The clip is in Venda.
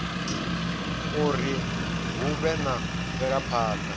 uri hu vhe na mvelaphana